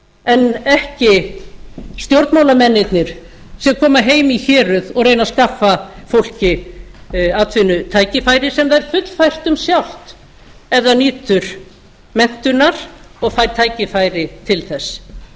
en ekki stjórnmálamennirnir sem koma heim í héruð og reyna að skaffa fólki atvinnutækifæri sem það er fullfært um sjálft ef það nýtur menntunar og fær tækifæri til þess